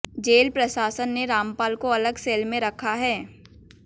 jail प्रशासन ने रामपाल को अलग सेल में रखा है